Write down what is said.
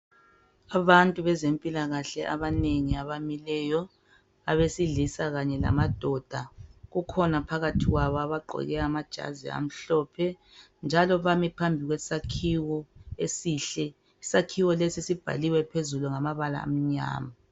Abantu bezempilakahle abanengi abamileyo abesilisa kanye lamadoda kukhona phakathi kwabo abagqoke amajazi amhlophe njalo bami phambi kwe sakhiwo esihle isakhiwo lesi sibhaliwe phezulu ngamabala amnyama.